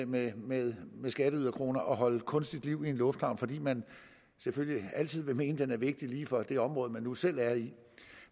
med med skatteyderkroner at holde kunstigt liv i en lufthavn fordi man selvfølgelig altid vil mene at den er vigtig lige for det område man nu selv er i